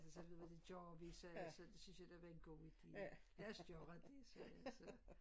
Så sagde ved du hvad det gør vi sagde jeg så det synes jeg da var en god idé lad os gøre det sgade jeg så